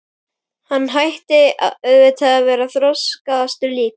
Hann ætti auðvitað að vera þroskaðastur líka.